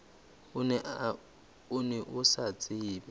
o ne o sa tsebe